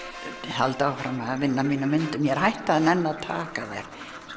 halda áfram að vinna að mínum myndum ég er hætt að nenna að taka þær